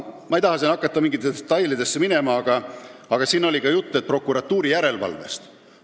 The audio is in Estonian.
Ma ei taha hakata minema detailidesse, aga siin oli juttu ka prokuratuuri järelevalvest.